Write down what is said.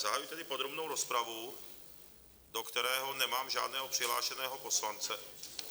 Zahajuji tedy podrobnou rozpravu, do které nemám žádného přihlášeného poslance...